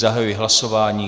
Zahajuji hlasování.